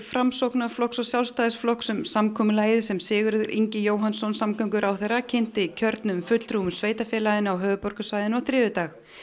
Framsóknarflokks og Sjálfstæðisflokks um samkomulagið sem Sigurður Ingi Jóhannsson samgönguráðherra kynnti kjörnum fulltrúum sveitarfélaganna á höfuðborgarsvæðinu á þriðjudag